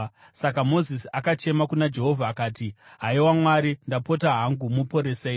Saka Mozisi akachema kuna Jehovha akati, “Haiwa Mwari, ndapota hangu muporesei!”